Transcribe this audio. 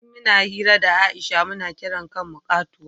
in muna hira da Aisha mu na kira kan mu katuwa